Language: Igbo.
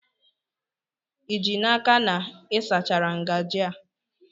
Ị ji n'aka na ị sachara ngajị a?